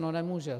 No nemůže.